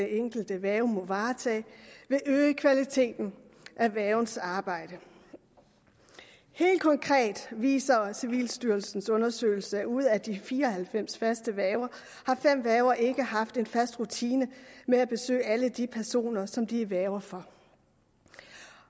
enkelte værge må varetage vil øge kvaliteten af værgens arbejde helt konkret viser civilstyrelsens undersøgelse at ud af de fire og halvfems faste værger har fem værger ikke haft en fast rutine med at besøge alle de personer som de er værge for